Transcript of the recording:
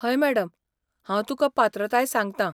हय मॅडम! हांव तुकां पात्रताय सांगता.